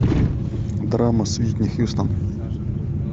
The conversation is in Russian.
драма с уитни хьюстон